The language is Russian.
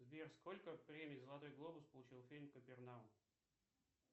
сбер сколько премий золотой глобус получил фильм капернаум